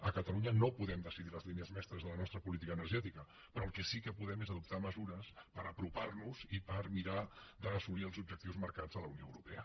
a catalunya no podem decidir les línies mestres de la nostra política energètica però el que sí que podem és adoptar mesures per apropar nos i per mirar d’assolir els objectius marcats a la unió europea